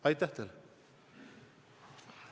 Aitäh teile!